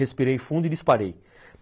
Respirei fundo e disparei.